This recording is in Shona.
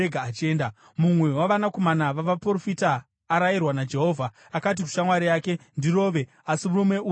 Mumwe wavanakomana vavaprofita arayirwa naJehovha, akati kushamwari yake, “Ndirove!” asi murume uyu akaramba.